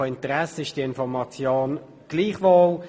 Von Interesse ist diese Information gleichwohl.